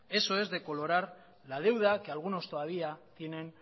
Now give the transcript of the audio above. eso es decolorar la deuda que algunos todavía tienen